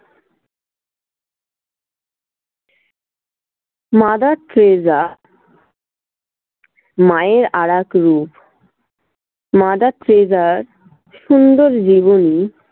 mother Teresa মায়ের আরাক রূপ। mother টেরেসার সুন্দর জীবনী